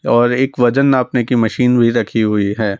और एक वजन नापने की मशीन भी रखी हुई है।